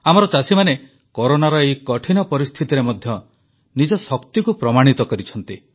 ଆମର ଚାଷୀମାନେ କରୋନାର ଏହି କଠିନ ପରିସ୍ଥିତିରେ ମଧ୍ୟ ନିଜ ଶକ୍ତିକୁ ପ୍ରମାଣିତ କରିଛନ୍ତି